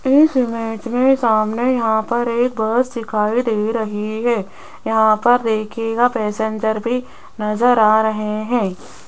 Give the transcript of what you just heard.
इस इमेज में सामने यहां पर एक बस दिखाई दे रही है यहां पर देखिएगा पैसेंजर भी नजर आ रहे हैं।